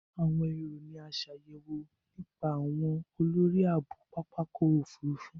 Awọn ero ni a ṣayẹwo nipasẹ awọn olori aabo Papa ọkọ ofurufu.